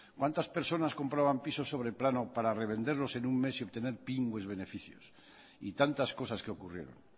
cuántas personas compraban pisos sobre plano para revenderlos en un mes y obtener pingües beneficios y tantas cosas que ocurrieron